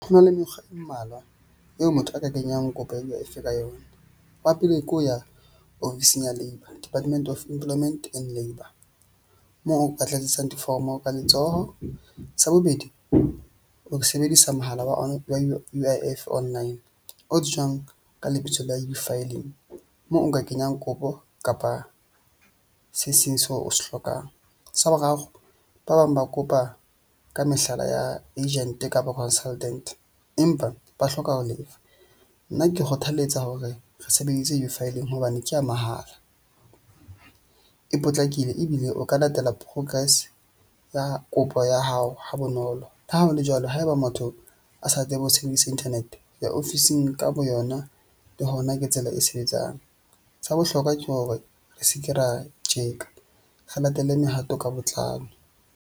Ho na le mekgwa e mmalwa eo motho a ka kenyang kopo ya U_I_ F ka yona. Wa pelehi ke ho ya ofising ya Labour, Department of Employment and Labour moo o ka tladisang difomo ka letsoho. Sa bobedi, ha ke sebedisa mohala wa U_I_ F Online o tsejwang ka lebitso la U_filing moo nka kenyang kopo kapa se seng seo o se hlokang. Sa boraro, ba bang ba kopa ka mehlala ya agent-e kapa consultant-e empa ba hloka ho lefa. Nna ke kgothaletsa hore re sebeditse U_filing hobane ke ya mahala, e potlakile ebile o ka latela progress ya kopo ya hao ha bonolo. Le ha ho le jwalo, haeba motho a sa tsebe ho sebedisa internet ya ofising ka boyona, le hona ke tsela e sebetsang. Sa bohlokwa ke hore re se ke ra tjeka re latele mehato ka botlalo.